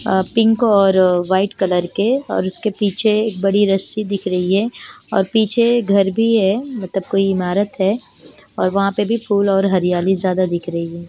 अ pink और white colour के और उसके पीछे बड़ी रस्सी दिख रही है और पीछे घर भी है मतलब कोई ईमारत है और वहाँ पे भी फुल और हरियाली ज्यादा दिख रही है।